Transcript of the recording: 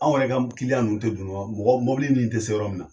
Anw yɛrɛ ka m ninnu tɛ don nɔgɔ mɔgɔ mobili nin te se yɔrɔ min na.